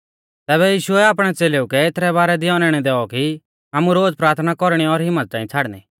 तैबै यीशुऐ आपणै च़ेलेऊ कै एथरै बारै दी औनैणौ दैऔ कि आमु रोज़ प्राथना कौरणी और हिम्मत च़ांई छ़ाड़नी